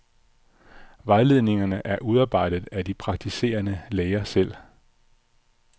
Vejledningerne er udarbejdet af de praktiserende læger selv.